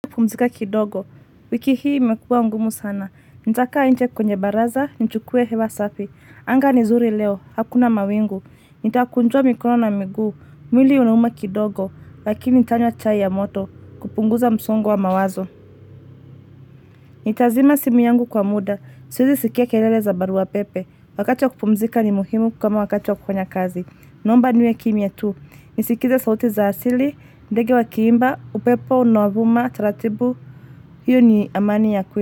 Kupumzika kidogo, wiki hii imekuwa ngumu sana, nitakaa nje kwenye baraza, nichukue hewa safi, anga ni zuri leo, hakuna mawingu, nitakunjua mikono na miguu, mwili unauma kidogo, lakini tanywa chai ya moto, kupunguza msongo wa mawazo. Nitazima simu yangu kwa muda, siwezi sikia kelele za barua wa pepe, wakati wa kupumzika ni muhimu kama wakati wa kufanya kazi, naomba niwe kimya tu, nisikilize sauti za asili, ndege wa kiimba, upepo, unaovuma, taratibu. Hiyo ni amani ya kweli.